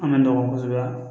An ma nɔgɔ kosɛbɛ